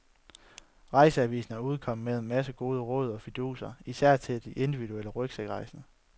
Rejseavisen er udkommet med en masse gode råd og fiduser, især til de individuelt rygsækrejsende.